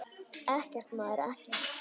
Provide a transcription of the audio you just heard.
Ekkert, maður, ekkert.